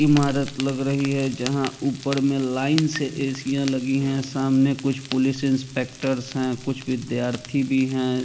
ईमारत लग रही हैं जहां ऊपर में लाइन से एसिया लगी है सामने कुछ पुलिस इंस्पेक्टर्स हैं कुछ विद्यार्थी भी हैं।